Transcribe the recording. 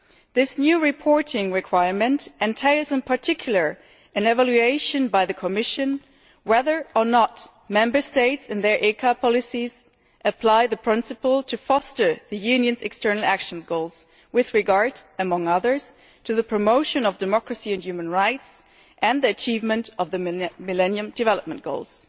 This new reporting requirement entails, in particular, an evaluation by the Commission as to whether or not Member States in their ECA policies are applying the principle of fostering the Union's external action goals with regard, among other things, to the promotion of democracy and human rights and the achievement of the Millennium Development Goals.